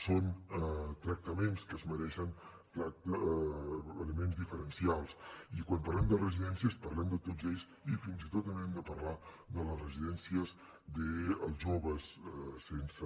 són tractaments que es mereixen elements diferencials i quan parlem de residències parlem de tots ells i fins i tot també hem de parlar de les residències dels joves sense